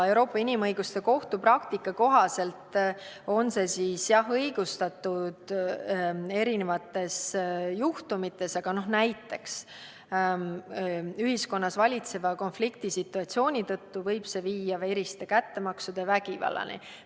Euroopa Inimõiguste Kohtu praktika kohaselt on see õigustatud mitmesuguste juhtumite puhul, näiteks siis, kui ühiskonnas valitseva konfliktisituatsiooni tõttu võib viia veriste kättemaksude, vägivallani.